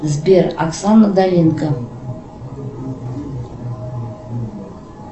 сбер оксана доленко